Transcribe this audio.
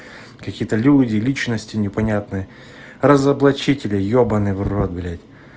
какие-то люди личности непонятные разоблачители ебаный в рот блядь